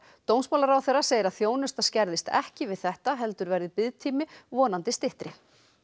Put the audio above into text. dómsmálaráðherra segir að þjónusta skerðist ekki við þetta heldur verði biðtími vonandi styttri